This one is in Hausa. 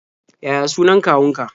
Yaya sunan kawunka?